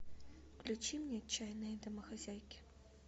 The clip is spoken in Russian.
включи мне отчаянные домохозяйки